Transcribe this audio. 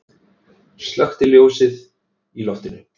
Slökkti ljósið í loftinu.